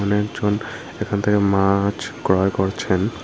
একজন এখান থেকে মাছ ক্রয় করছেন।